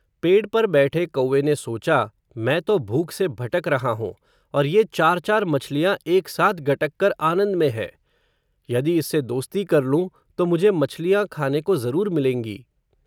पेड़ पर बैठे कौए ने सोचा, मैं तो भूख से भटक रहा हूँ, और ये चार-चार मछलियां एक साथ गटक कर आनंद में है. यदि इससे दोस्ती कर लूं, तो मुझे मछलियां खाने को ज़रूर मिलेंगी.